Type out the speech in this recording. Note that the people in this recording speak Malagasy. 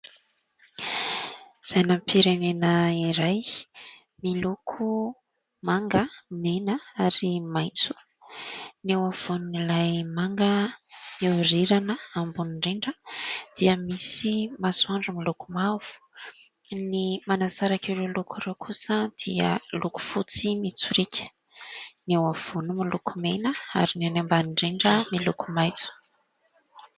Sainam-pirenena iray miloko manga, mena ary maitso. Ny eo afovoan'ilay manga mihorirana ambony indrindra dia misy masoandro miloko mavo. Ny manasaraka ireo loko ireo kosa dia loko fotsy mitsorika. Ny eo afovoany miloko mena ary ny an'ny ambany indrindra miloko maitso.